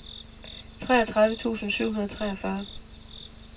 treogtredive tusind syv hundrede og treogfyrre